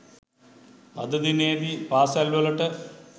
අද දිනයේදී පාසැල්වලට